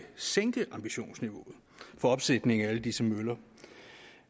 sænke ambitionsniveauet for opsætning af alle disse møller